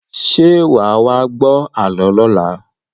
Ṣé wà wá gbọ àlọ́ lọla?